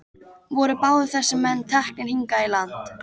Voru báðir þessir menn teknir hingað í land.